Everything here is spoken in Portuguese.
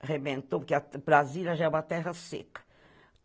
arrebentou, porque Brasília já é uma terra seca.